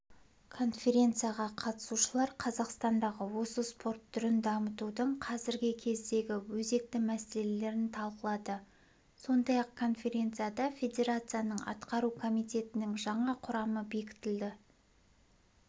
конференцияға қатысушылар қазақстандағы осы спорт түрін дамытудың қазіргі кездегі өзекті мәселелерін талқылады сондай-ақ конференцияда федерацияның атқару комитетінің жаңа құрамы бекітілді